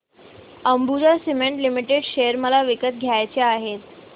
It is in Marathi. अंबुजा सीमेंट लिमिटेड शेअर मला विकत घ्यायचे आहेत